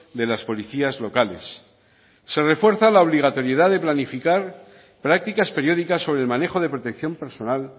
de las policías locales se refuerza la obligatoriedad de planificar prácticas periódicas sobre el manejo de protección personal